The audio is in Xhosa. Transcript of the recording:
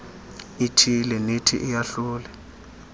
ithile nethi iyahlule